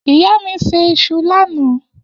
Iya mi se iṣu lana.